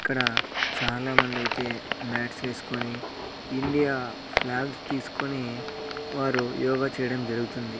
ఇక్కడ చాలా మంది అయితే మాట్స్ వేసుకొని ఇండియా ఫ్లాగ్స్ తీసుకొని వారు యోగ చేయడం జరుగుతుంది.